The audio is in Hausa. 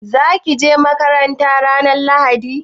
Za ki je makaranta ranar Lahadi?